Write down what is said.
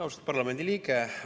Austatud parlamendiliige!